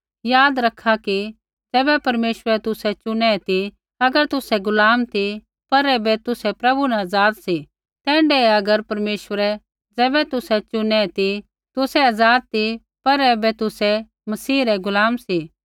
याद रखा कि ज़ैबै परमेश्वरै तुसै चुनै ती अगर तुसै गुलाम ती पर ऐबै तुसै प्रभु न आज़ाद सी तैण्ढै अगर परमेश्वरै ज़ैबै तुसै चुनै ती तुसै आज़ाद ती पर ऐबै तुसै मसीह रै गुलाम सी